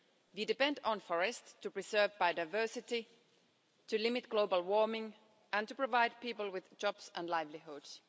We depend on forests to preserve biodiversity, to limit global warming and to provide people with jobs and livelihoods.